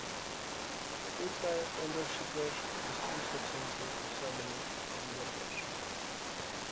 voertuigondersoekers bestuurslisensie eksamineerders